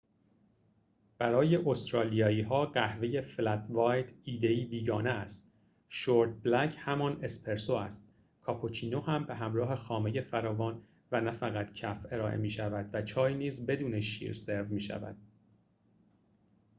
برای استرالیایی‌ها، قهوه «فلت وایت» ایده‌ای بیگانه است. شورت بلک همان «اسپرسو» است، کاپوچینو هم به همراه خامه فراوان و نه فقط کف ارائه می‌شود و چای نیز بدون شیر سرو می‌شود